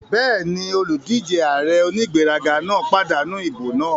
Bẹ́ẹ̀ni, olùdíjé ààrẹ onígbéraga náà pàdánù ìbò náà